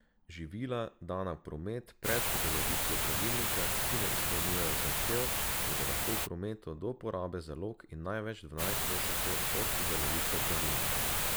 Živila, dana v promet pred uveljavitvijo pravilnika, ki ne izpolnjujejo zahtev, bodo lahko v prometu do porabe zalog in največ dvanajst mesecev od uveljavitve pravilnika.